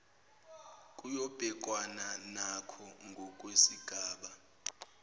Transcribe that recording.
kuyobhekwana nako ngokwesigaba